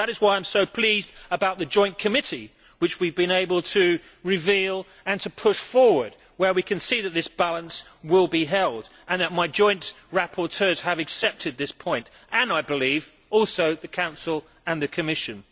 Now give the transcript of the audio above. That is why I am so pleased about the joint committee which we have been able to reveal and to push forward, where we can see that this balance will be held and that my joint rapporteurs have accepted this point as have, I believe, also the Council and the Commission.